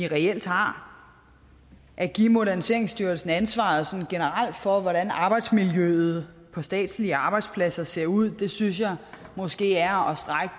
reelt har at give moderniseringsstyrelsen ansvaret for hvordan arbejdsmiljøet på statslige arbejdspladser ser ud synes jeg måske er